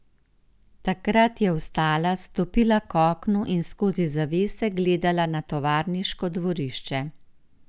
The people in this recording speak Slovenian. Takrat je vstala, stopila k oknu in skozi zavese gledala na tovarniško dvorišče.